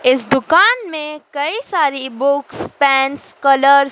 इस दुकान में कई सारी बुक्स पेन्स कलर --